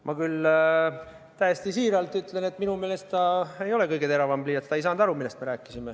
Ma küll täiesti siiralt ütlen, et minu meelest ta ei ole kõige teravam pliiats, ta ei saanud aru, millest me rääkisime.